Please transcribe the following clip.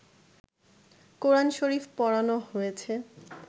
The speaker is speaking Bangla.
কোরআন শরীফ পোড়ানো হয়েছে